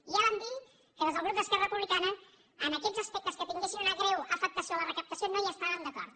i ja vam dir que des del grup d’esquerra republicana en aquests aspec·tes que tinguessin una greu afectació en la recaptació no hi estàvem d’acord